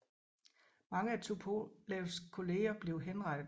Mange af Tupolevs kolleger blev henrettet